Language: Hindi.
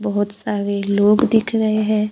बहोत सारे लोग दिख रहे हैं।